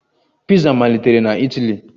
Piza malitere na Itali